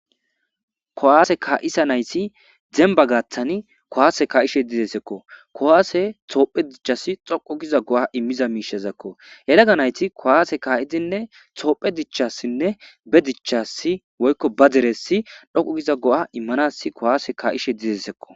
Kuwaase kaa'ishe nayti demba gaaththani kuwaase ka'ishe desekko. Kuwaase toophe dichasi xoqo giza go'a immiza miishazakko. yelagga nayti kuwaase ka'idinne toophe dichassinne ba dichasi woykko ba deresi xoqu giza go'a immanas kuwaase ka'ishe desikko.